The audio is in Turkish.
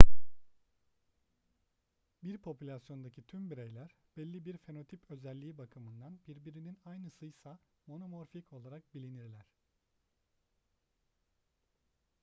bir popülasyondaki tüm bireyler belli bir fenotip özelliği bakımından birbirinin aynısıysa monomorfik olarak bilinirler